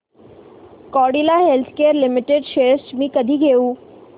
Cadila healthcare limited shares मी कधी घेऊ